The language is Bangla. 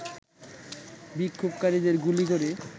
বিক্ষোভকারীদের গুলি করে